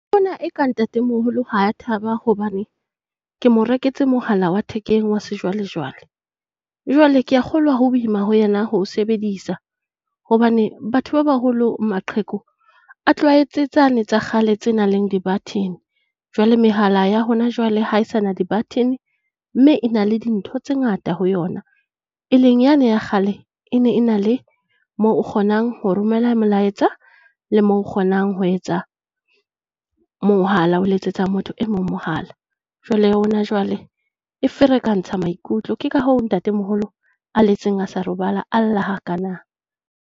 Ke bona e ka ntate-moholo ha thaba hobane ke mo reketse mohala wa thekeng wa sejwalejwale. Jwale kea kgolwa ho boima ho yena ho o sebedisa hobane batho ba baholo, maqheku, a tlwaetse tsane tsa kgale tse nang le di-button. Jwale mehala ya hona jwale ha e sa na di-button mme e na le dintho tse ngata ho yona, e leng yane ya kgale e ne e na le moo o kgonang ho romela molaetsa, le mo o kgonang ho etsa mohala, ho letsetsa motho e mong mohala. Jwale ya hona jwale e ferekantsha maikutlo. Ke ka hoo ntate-moholo a letseng a sa robala, a lla ha kana.